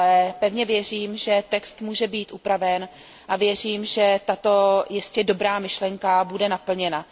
Ale pevně věřím, že text může být upraven, a věřím, že tato jistě dobrá myšlenka bude naplněna.